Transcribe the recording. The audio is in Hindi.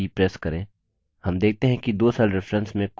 keyboard पर enter की press करें